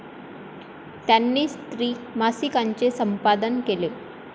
त्यांनी स्त्री मासिकाचे संपादन केले.